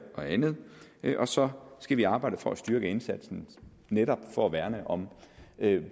og andet og så skal vi arbejde for at styrke indsatsen netop for at værne om